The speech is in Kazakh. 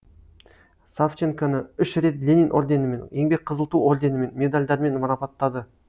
савченконі үш рет ленин орденімен еңбек қызыл ту орденімен медальдармен марапаттады